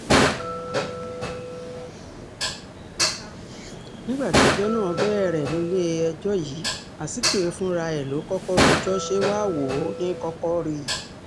nígbà tí ẹjọ́ náà bẹ̀rẹ̀ nílẹ̀-ẹjọ́ yìí azikiwe fúnra ẹ̀ ló kọ́kọ́ rojọ́ ṣe wàá-wò-ó ní í kọ́kọ́ rí i